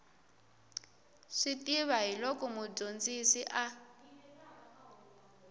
swi tiva hiloko mudyondzisi a